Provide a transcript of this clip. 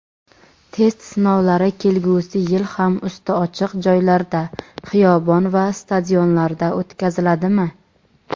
Test sinovlari kelgusi yil ham usti ochiq joylarda —xiyobon va stadionlarda o‘tkaziladimi?.